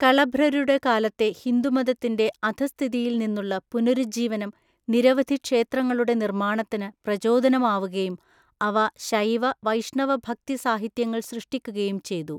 കളഭ്രരുടെ കാലത്തെ ഹിന്ദുമതത്തിന്‍റെ അധസ്ഥിതിയില്‍നിന്നുള്ള പുനരുജ്ജീവനം നിരവധി ക്ഷേത്രങ്ങളുടെ നിർമ്മാണത്തിന് പ്രചോദനമാവുകയും അവ ശൈവ, വൈഷ്ണവ ഭക്തി സാഹിത്യങ്ങൾ സൃഷ്ടിക്കുകയും ചെയ്തു.